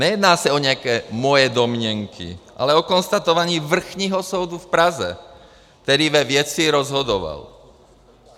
Nejedná se o nějaké moje domněnky, ale o konstatování Vrchního soudu v Praze, který ve věci rozhodoval.